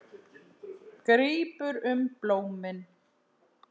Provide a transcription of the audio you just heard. Grípur um blómin.